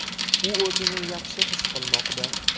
U o‘zini yaxshi his qilmoqda.